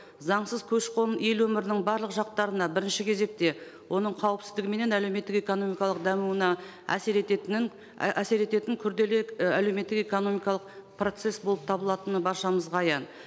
заңсыз көші қон ел өмірінің барлық жақтарына бірінші кезекте оның кауіпсіздігі менен әлеуметтік экономикалық дамуына әсер ететінін әсер ететін күрделі і әлеуметтік экономикалық процесс болып табылатыны баршамызға аян